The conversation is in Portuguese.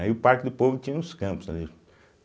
Aí o Parque do Povo tinha uns campos, ali